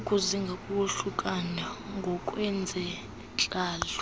ukuzinga kokohlukana ngokwezentlalo